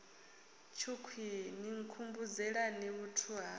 tshukhwii ni nkhumbudzelani vhuthu ha